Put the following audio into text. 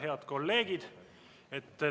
Head kolleegid!